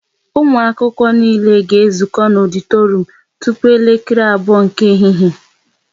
Ụmụ akwụkwọ niile ga ezuko na ọditorum tupu elekere abụọ nke ehihie!